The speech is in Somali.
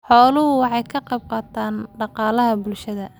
Xooluhu waxay ka qayb qaataan dhaqaalaha bulshada.